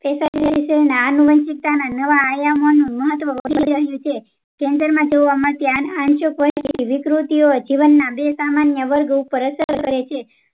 નવા આનુવંશિકતાના નવા આયામોનું મહત્વ વધી ગયું છે cancer આનુવંશિક બે સામાન્ય અસર કરે છે